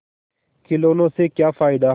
खिलौने से क्या फ़ायदा